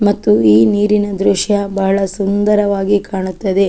ಮತ್ತು ಈ ನೀರಿನ ದೃಶ್ಯ ಬಹಳ ಸುಂದರವಾಗಿ ಕಾಣುತ್ತದೆ.